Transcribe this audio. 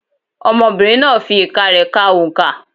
Ọmọbìnrin náà fi ìka rẹ ka oǹkà.